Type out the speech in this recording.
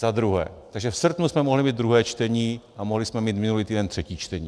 Za druhé, takže v srpnu jsme mohli mít druhé čtení a mohli jsme mít minulý týden třetí čtení.